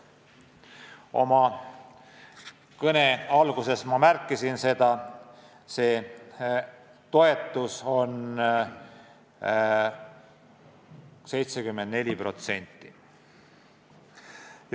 Oma kõne alguses ma märkisin, see toetus on 74%.